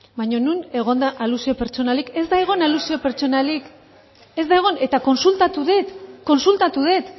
baino non egon da alusio pertsonalik ez dago alusio pertsonalik ez da egon eta kontsultatu dut kontsultatu dut